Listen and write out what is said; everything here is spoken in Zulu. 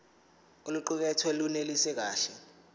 oluqukethwe lunelisi kahle